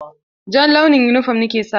Jan launin yunifom ni ke sawa.